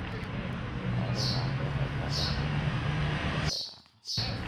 Xooluhu waxay ka qayb qaataan horumarinta farsamada beeraha.